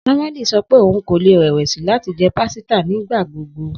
Samueli sọ pe oun ko le rẹwẹsi lati jẹ pasita nigbagbogbo